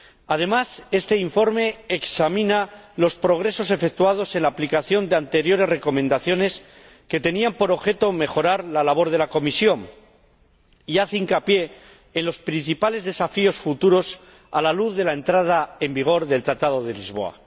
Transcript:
Además, este informe examina los progresos efectuados en la aplicación de anteriores recomendaciones que tenían por objeto mejorar la labor de la comisión y hace hincapié en los principales desafíos futuros a la luz de la entrada en vigor del Tratado de Lisboa.